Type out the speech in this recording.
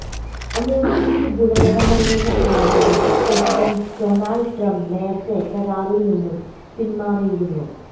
അമേരിക്കയ്ക്ക് ഗുണകരമല്ലെന്ന് ആരോപിച്ച് പ്രസിഡന്റ് ഡൊണാൾഡ് ട്രംപ് നേരത്തെ കരാറിൽ നിന്ന് പിൻമാറിയിരുന്നു